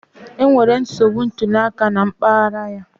Enwere nsogbu ntuli aka na mpaghara ya